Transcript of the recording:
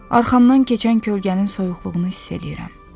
Arxamdan keçən kölgənin soyuqluğunu hiss eləyirəm.